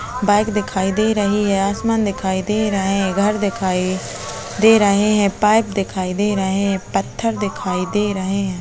Bike दिखाई दे रहे है आसमान दिखाई दे रहा है घर दिखाई दे र हे है पाइप दिखाई दे रहे है पत्थर दिखाई दे रहा है।